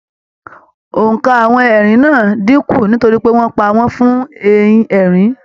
Óńka àwọn ẹrin náà n dínkù nítorí pé wọn pa wọn fun ehin-erin